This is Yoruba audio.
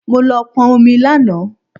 Mo lọ pọn omi lánàá